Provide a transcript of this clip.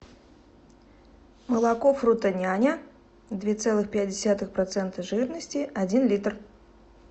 молоко фрутоняня две целых пять десятых процента жирности один литр